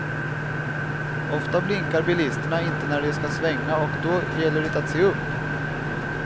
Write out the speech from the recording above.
Ofta blinkar bilisterna inte när de ska svänga och då gäller det att se upp.